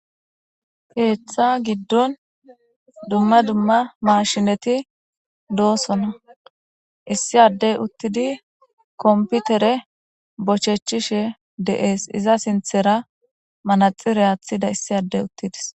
Keeththa giddon dumma dumma mashineti doosona issi addey uttidi komputere bochechishe de'ees iza sinthera manaxire aathida issi addey uttides